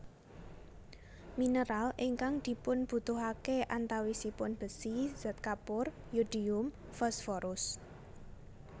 Mineral ingkang dipunbutuhake antawisipun bési zat kapur yodium fosforus